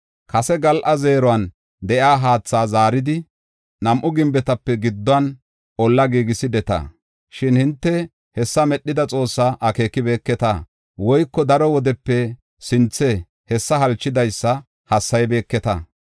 Kase gal7a zeeruwan de7iya haatha zaaridi, nam7u gimbetape gidduwan olla giigisideta. Shin hinte hessa medhida Xoossaa akeekibeketa; woyko daro wodepe sinthe hessa halchidaysa hassaybeketa.